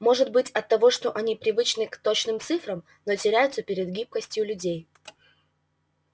может быть оттого что они привычны к точным цифрам но теряются перед гибкостью людей